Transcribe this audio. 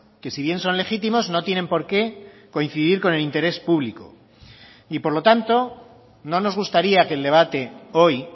que si bien son legítimos no tienen por qué coincidir con el interés público y por lo tanto no nos gustaría que el debate hoy